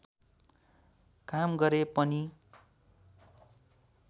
काम गरे पनि